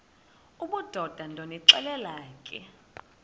obudoda ndonixelela ke